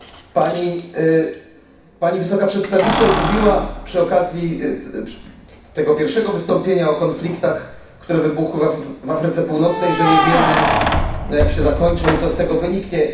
Pani wysoka przedstawiciel mówiła przy okazji tego pierwszego wystąpienia o konfliktach, które wybuchły w Afryce Północnej, że nie wiemy jak się zakończą i co z tego wyniknie.